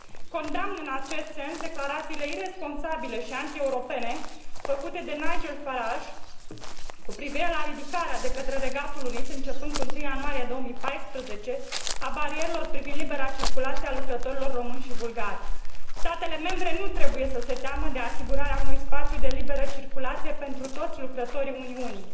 Condamn, în acest sens, declarațiile iresponsabile și antieuropene făcute de Nigel Farage cu privire la ridicarea de către Regatul Unit, începând cu 1 ianuarie 2014, a barierelor privind libera circulație a lucrătorilor români și bulgari. Statele membre nu trebuie să se teamă de asigurarea unui spațiu de liberă circulație pentru toți lucrătorii Uniunii.